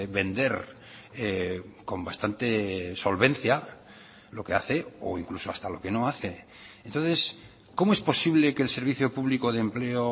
vender con bastante solvencia lo que hace o incluso hasta lo que no hace entonces cómo es posible que el servicio público de empleo